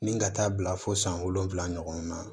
Ni ka taa bila fo san wolonwula ɲɔgɔn na